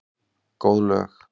Góð lög.